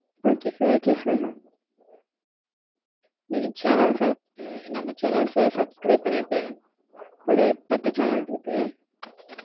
okay sir okay sir நீங்க channel எந்தெந்த channels அ subscribe பண்ணிருக்கீங்க? ஒரு பத்து channel இருக்கு.